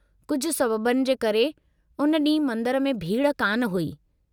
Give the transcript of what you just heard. कुझु सबबनि जे करे, उन ॾींहुं मंदर में भीड़ कान हुई।